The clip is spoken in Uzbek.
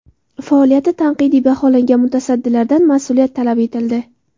Faoliyati tanqidiy baholangan mutasaddilardan mas’uliyat talab etildi.